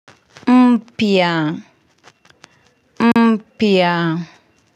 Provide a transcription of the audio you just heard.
Mpya mpya.